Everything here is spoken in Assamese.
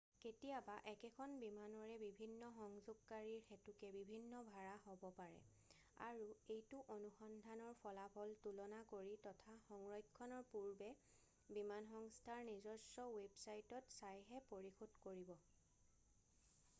কেতিয়াবা একেখন বিমানৰে বিভিন্ন সংযোগকাৰীৰ হেতুকে বিভিন্ন ভাড়া হ'ব পাৰে আৰু এইটো অনুসন্ধানৰ ফলাফল তুলনা কৰি তথা সংৰক্ষণৰ পূৰ্বে বিমানসংস্থাৰ নিজস্ব ৱেবচাইটত চাইহে পৰিশোধ কৰিব